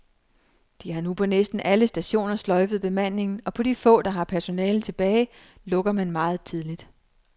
De har nu på næsten alle stationer sløjfet bemandingen, og på de få, der har personale tilbage lukker man meget tidligt.